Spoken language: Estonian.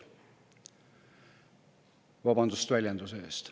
Vabandust väljenduse eest.